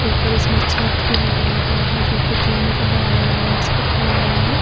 ऊपर इसमें छत भी लगाया हुआ है जो कि तीन का है। आयरन रॉड्स पे खड़ा हुआ है।